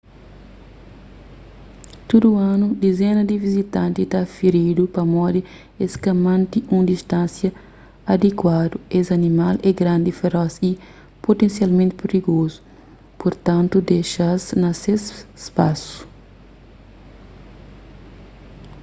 tudu anu dizena di vizitanti ta firidu pamodi es ka mante un distánsia adikuadu es animal é grandi feros y putensialmenti prigozu purtantu dexa-s na ses spasu